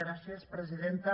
gràcies presidenta